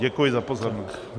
Děkuji za pozornost.